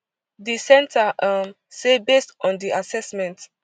di centre um say based on di assessment